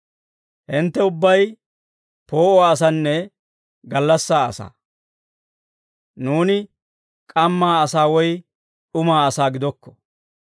Hintte ubbay poo'uwaa asanne gallassaa asaa; nuuni k'ammaa asaa woy d'umaa asaa gidokko.